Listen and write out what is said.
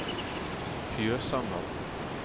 Fjøsanger